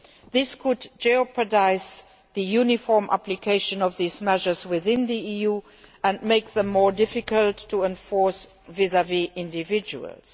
This could jeopardise the uniform application of the measures within the EU and make them more difficult to enforce vis vis individuals.